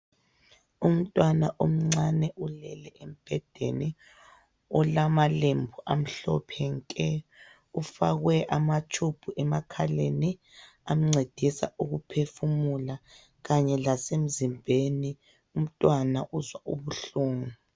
Umtwana omncane ulele embhedeni, olamalembu amhlophe nke. Ufakwe amatshubhu emakhaleni amncedisa ukuphefumula, kanye lasemzimbeni. Umntwana uzwa ubuhlungu.